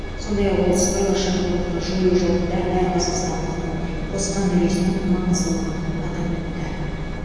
сондай ақ ол сыбайлас жемқорлықты жою жолында әр қазақстандықтың қосқан үлесінің маңыздылығын атап өтті